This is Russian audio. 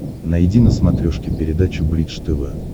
найди на смотрешке передачу бридж тв